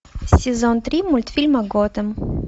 сезон три мультфильма готэм